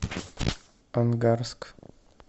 ангарск